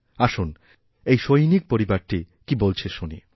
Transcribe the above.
আসুন এই সৈনিক পরিবারটি কীবলছে শুনি